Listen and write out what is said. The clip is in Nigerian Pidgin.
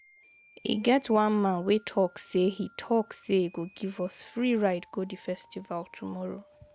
E get one man wey talk say he talk say he go give us free ride go the festival tomorrow